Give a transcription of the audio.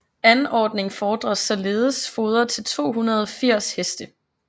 Anordning fordres således foder til 280 heste